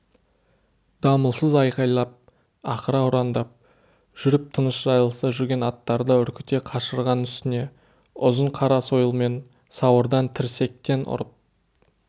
дамылсыз айқайлап ақыра ұрандап жүріп тыныш жайылыста жүрген аттарды үркіте қашырған үстіне ұзын қара сойылмен сауырдан тірсектен ұрып